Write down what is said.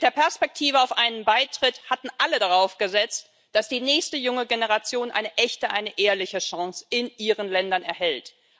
Mit der Perspektive auf einen Beitritt hatten alle darauf gesetzt, dass die nächste junge Generation eine echte, eine ehrliche Chance in ihren Ländern erhält.